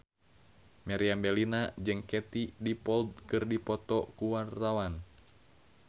Meriam Bellina jeung Katie Dippold keur dipoto ku wartawan